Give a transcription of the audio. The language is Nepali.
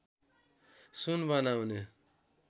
सुन बनाउने